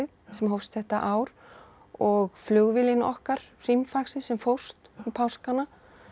sem hófst þetta ár og flugvélin okkar sem fórst um páskana